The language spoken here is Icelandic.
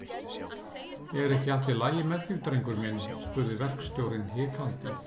Er ekki allt í lagi með þig, drengur minn? spurði verkstjórinn hikandi.